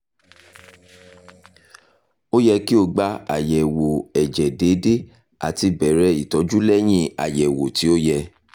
o yẹ ki o gba ayẹwo ẹjẹ deede ati bẹrẹ itọju lẹyin ayẹwo ti o yẹ